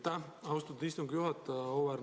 Aitäh, austatud istungi juhataja!